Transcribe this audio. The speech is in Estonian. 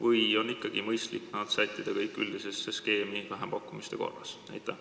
Või on ikkagi mõistlik sättida nad kõik üldisesse skeemi vähempakkumiste korras?